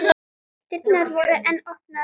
Dyrnar voru enn opnar.